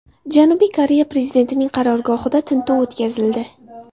Janubiy Koreya prezidentining qarorgohida tintuv o‘tkazildi.